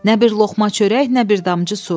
Nə bir loğma çörək, nə bir damcı su.